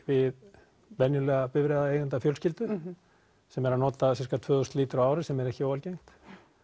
við venjulega bifreiðaeigenda fjölskyldu sem er að nota tvö þúsund lítra á ári sem er ekki óalgengt